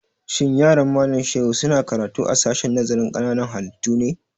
Shin yaran Malam Shehu su na karatu a sashen nazarin ƙananan halittu ne?